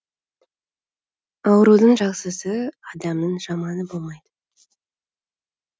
аурудың жақсысы адамның жаманы болмайды